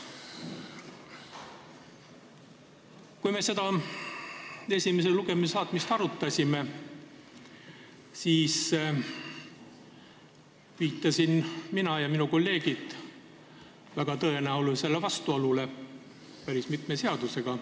Kui me selle eelnõu esimesele lugemisele saatmist arutasime, siis viitasin mina ja viitasid ka meie kolleegid väga tõenäolisele vastuolule päris mitme seadusega.